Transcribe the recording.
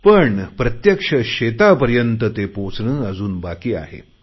पण प्रत्यक्ष शेतापर्यंत ते पोचणे अजून बाकी आहे